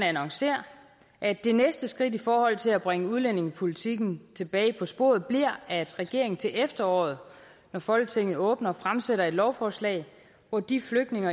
annoncere at det næste skridt i forhold til at bringe udlændingepolitikken tilbage på sporet bliver at regeringen til efteråret når folketinget åbner fremsætter et lovforslag hvor de flygtninge